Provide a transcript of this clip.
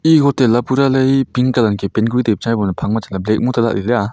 e hotel a pura ley e pink colour angkhe paint kori taip changa ebo phangma chatley black ma telah leley a.